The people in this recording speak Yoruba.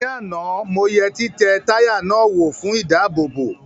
Ní àná mo yẹ títẹ táyà náà wò fún ìdáàbòbò